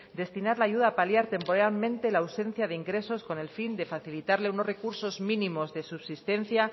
destinar la ayuda a paliar temporalmente la ausencia de ingresos con el fin de facilitarle unos recursos mínimos de subsistencia